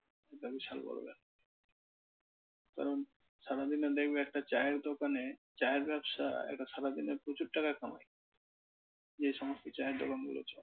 একটা বিশাল বড় ব্যাপার। কারণ সারাদিনে দেখবে একটা চায়ের দোকানে চায়ের ব্যবসা একটা সারাদিনে প্রচুর টাকা কামাই যে সমস্ত চায়ের দোকানগুলো চলে